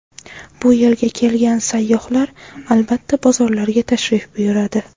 Bu yerga kelgan sayyohlar albatta bozorlarga tashrif buyuradi.